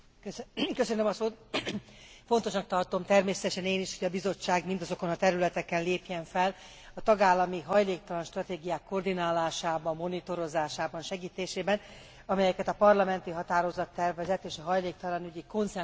Fontosnak tartom természetesen én is, hogy a Bizottság mindazokon a területeken lépjen fel a tagállami hajléktalan stratégiák koordinálásában, monitorozásában, segítésében, amelyeket a parlamenti határozattervezet és a hajléktalanügyi konszenzus konferencia említett.